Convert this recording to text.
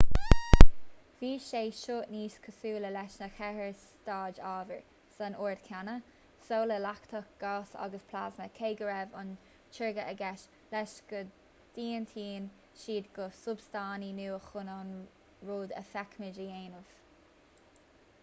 bhí sé seo níos cosúla leis na ceithre staid ábhair san ord céanna: soladach leachtach gás agus plasma cé go raibh an teoiric aige leis go dtiontaíonn siad go substaintí nua chun an rud a fheicimid a dhéanamh